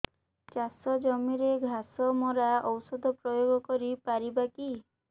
ଚାଷ ଜମିରେ ଘାସ ମରା ଔଷଧ ପ୍ରୟୋଗ କରି ପାରିବା କି